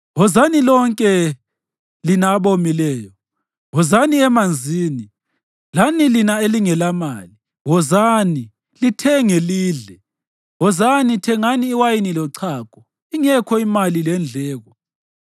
“Wozani, lonke lina abomileyo, wozani emanzini, lani lina elingelamali, wozani, lithenge, lidle! Wozani, thengani iwayini lochago ingekho imali lendleko.